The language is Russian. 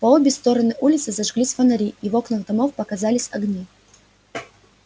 по обе стороны улицы зажглись фонари и в окнах домов показались огни